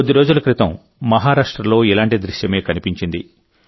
కొద్దిరోజుల క్రితం మహారాష్ట్రలో ఇలాంటి దృశ్యమే కనిపించింది